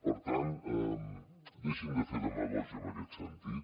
per tant deixin de fer demagògia en aquest sentit